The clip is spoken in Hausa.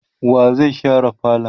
wa zai share falon?